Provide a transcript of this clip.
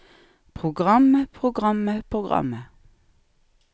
programmet programmet programmet